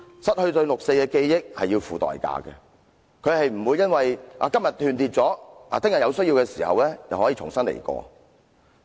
失去對六四事件的記憶是要付出代價的，不是今天斷裂了，明天有需要的時候就可以重新得到。